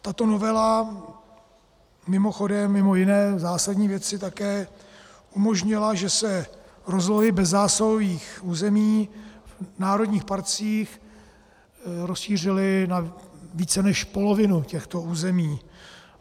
Tato novela mimochodem mimo jiné zásadní věci také umožnila, že se rozlohy bezzásahových území v národních parcích rozšířily na více než polovinu těchto území.